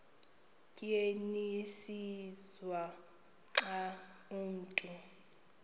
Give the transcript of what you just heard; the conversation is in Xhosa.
tyenziswa xa umntu